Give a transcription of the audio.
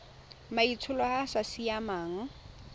maitsholo a a sa siamang